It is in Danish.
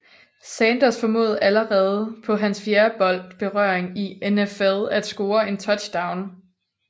Sanders formåede allerede på han fjerde bold berøring i NFL at score en touchdown